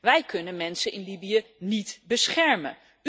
Wij kunnen mensen in Libië niet beschermen.